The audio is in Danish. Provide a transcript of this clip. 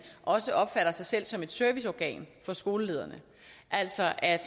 også opfatter sig selv som et serviceorgan for skolelederne altså at